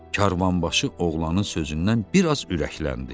Karvanbaşı oğlanın sözündən bir az ürəkləndi.